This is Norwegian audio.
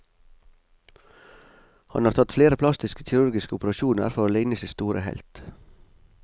Han har tatt flere plastisk kirurgiske operasjoner for å ligne sin store helt.